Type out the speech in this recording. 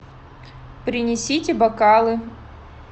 принесите бокалы